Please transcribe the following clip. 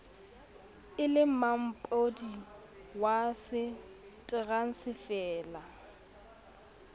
e le mampodi wa teransefala